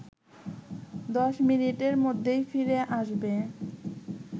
১০ মিনিটের মধ্যেই ফিরে আসবে